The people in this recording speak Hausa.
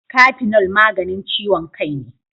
Kafinol maganin ciyon kai ne.